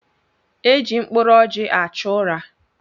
Eji mkpụrụ ọjị achụ ụra.